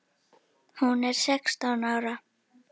Hún er sextán ára.